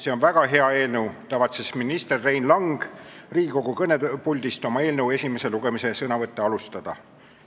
See on väga hea eelnõu," tavatses minister Rein Lang Riigikogu kõnepuldist oma eelnõu esimese lugemise sõnavõtte alustada.